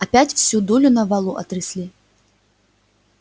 опять всю дулю на валу отрясли